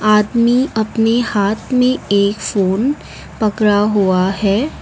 आदमी अपने हाथ में एक फोन पकड़ा हुआ है।